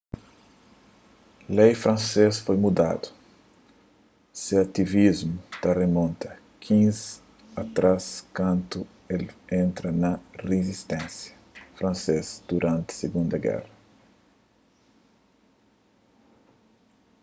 lei fransês foi mudadu se ativismu ta rimonta 15 atrás kantu el entra na rizisténsia fransês duranti sigunda géra